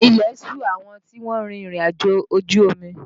Ilẹ̀ ṣù àwọn tí wọ́n rin ìrìnàjò ojú omi